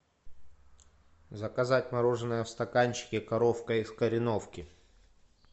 заказать мороженое в стаканчике коровка из кореновки